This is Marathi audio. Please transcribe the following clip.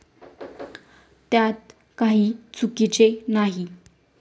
त्यात काही चुकीचे नाही.